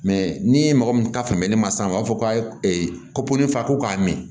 ni mɔgɔ min ka faamuyali ma sa u b'a fɔ k'a fa ko k'a m